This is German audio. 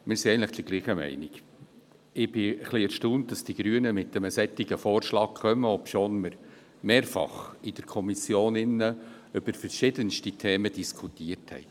Ich bin etwas erstaunt darüber, dass die Grünen mit einem solchen Vorschlag kommen, obwohl man mehrfach in der Kommission über verschiedenste Themen diskutiert hat.